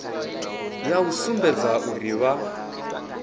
ya u sumbedza uri vha